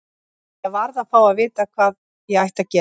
Ég varð að fá að vita hvað ég ætti að gera.